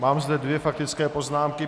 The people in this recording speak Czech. Mám zde dvě faktické poznámky.